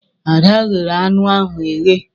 Ada ghere anụ ahụ eghe.